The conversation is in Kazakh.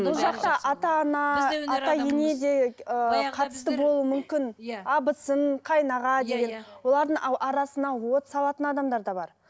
бұл жақта ата ана ата ене де ыыы қатысты болуы мүмкін иә абысын қайын аға деген олардың арасына от салатын адамдар да бар